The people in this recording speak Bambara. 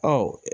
Ɔ